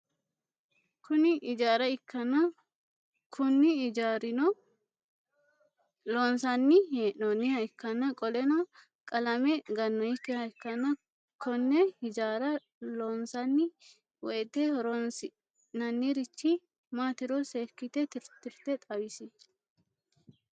Kuni ijaraikana Kuni ijaruno loonsani heen'oniha ikana qoleno qalame ganonikiha ikana Kone hijara loonsani woyite horonsine'nanirichi matiro seekite titirte xawis?